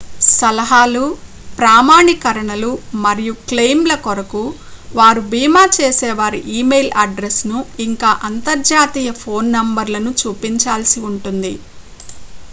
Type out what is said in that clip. సలహాలు/ప్రామాణీకరణలు మరియు క్లెయిమ్‌ల కొరకు వారు భీమా చేసేవారి ఇ-మెయిల్ అడ్రస్‌ను ఇంకా అంతర్జాతీయ ఫోన్ నెంబర్‌లను చూపించాల్సి ఉంటుంది